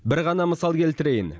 бір ғана мысал келтірейін